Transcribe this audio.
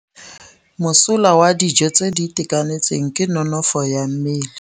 Mosola wa dijô tse di itekanetseng ke nonôfô ya mmele.